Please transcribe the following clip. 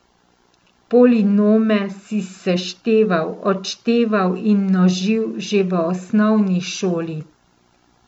Polinome si sešteval, odšteval in množil že v osnovni šoli.